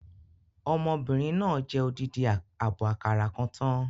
Ọmọbìnrin náà jẹ odidi àbọ̀ àkàrà kan tán